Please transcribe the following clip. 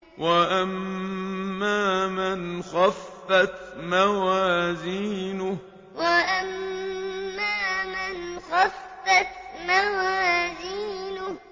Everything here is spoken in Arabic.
وَأَمَّا مَنْ خَفَّتْ مَوَازِينُهُ وَأَمَّا مَنْ خَفَّتْ مَوَازِينُهُ